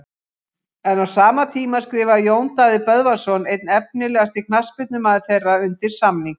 En á sama tíma skrifaði Jón Daði Böðvarsson einn efnilegasti knattspyrnumaður þeirra undir samning.